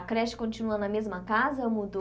A creche continua na mesma casa ou mudou?